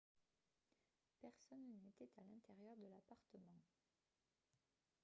personne n'était à l'intérieur de l'appartement